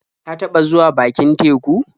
Ka taɓa zuwa bakin teku?